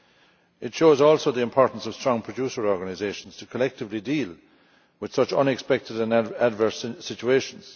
It also shows the importance of strong producer organisations to collectively deal with such unexpected and adverse situations.